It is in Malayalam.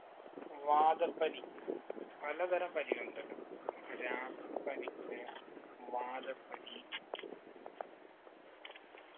വാദപ്പനി പലതരം പനികളുണ്ടല്ലോ രാപ്പനിക്ക് വാദപ്പനി